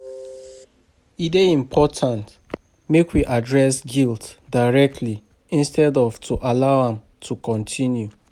E dey important make we address guilt directly instead of to allow am to continue.